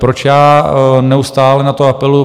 Proč já neustále na to apeluji?